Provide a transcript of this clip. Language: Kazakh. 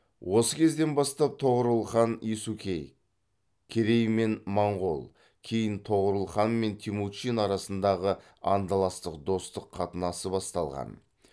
осы кезден бастап тоғорыл хан есукей керей мен моңғол кейін тоғорыл хан мен темучин арасындағы андаластық достық қатынасы басталған